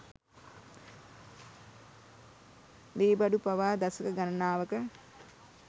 ලීබඩු පවා දශක ගණනාවක